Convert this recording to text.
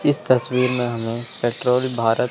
इस तस्वीर में हमें पेट्रोल भारत--